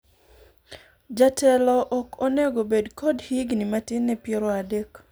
jatelo ok onego bed kod higni matin ne piero adek